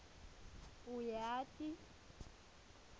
uyati